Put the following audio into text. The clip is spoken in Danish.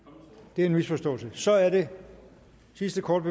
det er en misforståelse så er den sidste kort